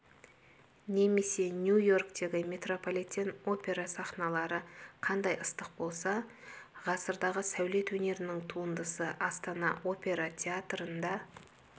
немесе нью-йорктегі метрополитен опера сахналары қандай ыстық болса ғасырдағы сәулет өнерінің туындысы астана опера театрында